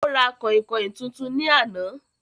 Ó ra kànhìnkànhìn tuntun ní àná